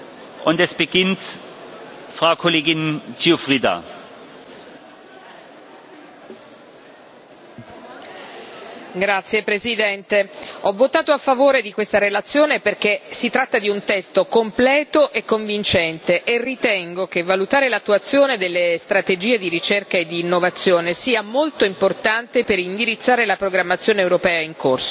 Signor Presidente, onorevoli colleghi, ho votato a favore di questa relazione perché si tratta di un testo completo e convincente, e ritengo che valutare l'attuazione delle strategie di ricerca e di innovazione sia molto importante per indirizzare la programmazione europea in corso.